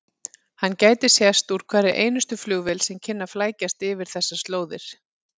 Hann gæti sést úr hverri einustu flugvél sem kynni að flækjast yfir þessar slóðir.